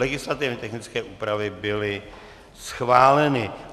Legislativně technické úpravy byly schváleny.